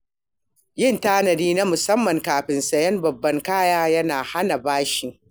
Yin tanadi na musamman kafin sayen babban kaya yana hana bashi.